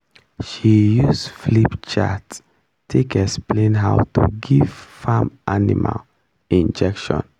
she use flipchart take explain how to give farm animal injection